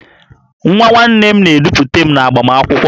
Nwa nwanne m na-edupụta m n'agbamakwụkwọ m